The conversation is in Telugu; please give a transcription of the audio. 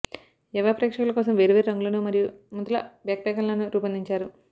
యవ్వ ప్రేక్షకుల కోసం వేర్వేరు రంగులను మరియు ముద్రల బ్యాక్ప్యాక్లను రూపొందించారు